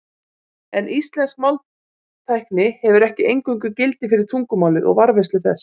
En íslensk máltækni hefur ekki eingöngu gildi fyrir tungumálið og varðveislu þess.